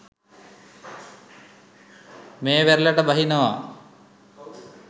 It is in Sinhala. මේ වෙරළට බහිනවා.